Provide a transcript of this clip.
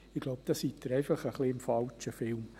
– Ich glaube, da sind Sie einfach im falschen Film.